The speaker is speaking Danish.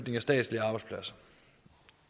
statslige arbejdspladser